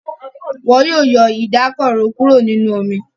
Wón má yọ Ìdákọrò kúrò nínú omí.